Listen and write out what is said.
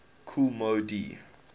kool moe dee